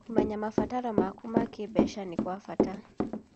Kũmenya mabataro maku ma kĩmbeca nĩ gwa bata.